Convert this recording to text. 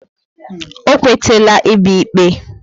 O kwe tela I bia ikpe